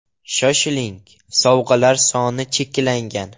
Shoshiling, sovg‘alar soni cheklangan!